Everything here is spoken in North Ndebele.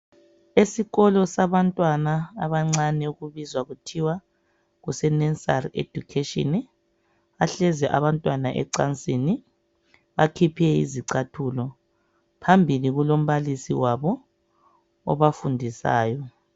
Esikolo sabantwa abancane okubizwa kuthiwa kuse Nesari Edukheshini. Bahlezi abantwana ecansini, bakhiphe izicathulo. Phambili kulombalisi wabo obafundisayo.